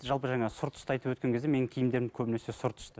жалпы жаңа сұр түсті айтып өткен кезде менің киімдерім көбінесе сұр түсті